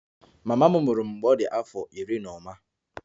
Mama m mụrụ m mgbe ọ dị afọ iri na ụma